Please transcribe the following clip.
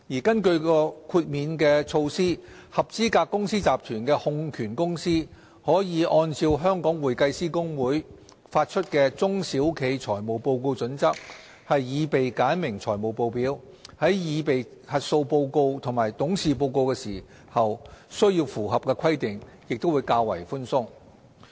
根據豁免措施，合資格公司集團的控權公司可按照香港會計師公會發出的《中小企財務報告準則》，擬備簡明財務報表，在擬備核數師報告和董事報告時，須符合的規定也較為寬鬆。